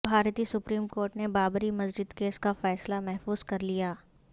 بھارتی supreme court نے بابری مسجد کیس کا فیصلہ محفوظ کر لیا